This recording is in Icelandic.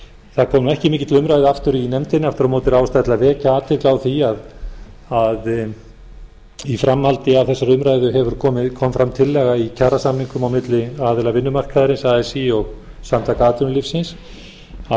það kom ekki mikið til umræðu aftur í nefndinni aftur á móti er ástæða til að vekja athygli á því að í framhaldi af þessari umræðu kom fram tillaga í kjarasamningum á milli aðila vinnumarkaðarins así og samtaka atvinnulífsins að